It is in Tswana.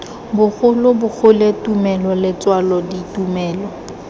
bogolo bogole tumelo letswalo ditumelo